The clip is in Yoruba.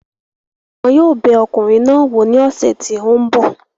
Wọn yóò bẹ ọkùnrin náà wò ní ọ̀sẹ̀ tí ó ń bọ̀